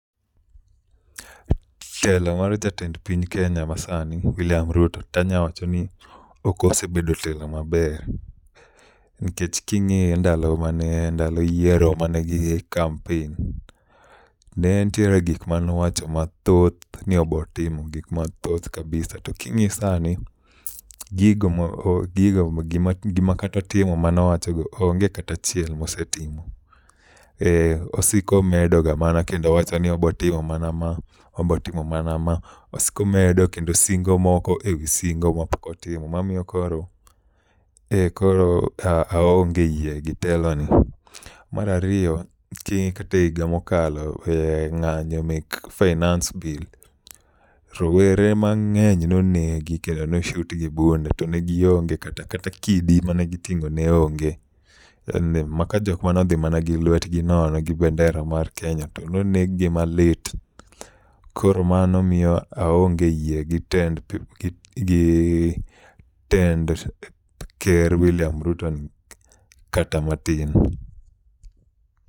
Telo mar jatend piny Kenya masani William Ruto tanya wacho ni ok osebedo telo maber. Nikech king\iyo ndalo mane ndalo yiero mane gi kampen, netiere gik manowacho mathoth ni obotimo gik mathoth kabisa to king'iyo sani gigo mo gigo mo gima kata timo manowacho onge kata achiel mosetimo. Osiko medo ga mana kendo wacho ni obotimo mana ma obotimo mana ma osiko medo kendo osingo moko e wi singo mopok otimo mamiyo koro e koro aonge yie gi teloni. Mar ariyo chik tehiga mokalo e ng'anyo me finance bill rowere mang'eny nonegi kendo no shoti gi bunde to negionge kata kidi magiting'o ne onge. Makajok mano dhi mana gi lwet gi nono gi bandera mar Kenya to noneg gi mali. Koro mano miyo aonge yie gi tend gi tend ker William Ruto ni kata matin.